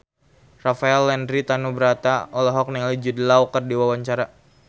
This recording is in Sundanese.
Rafael Landry Tanubrata olohok ningali Jude Law keur diwawancara